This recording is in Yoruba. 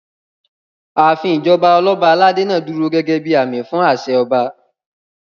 Ààfin ìjọba Ọlọ́ba aládé náà dúró gẹ́gẹ́ bíi àmì fún àṣẹ ọba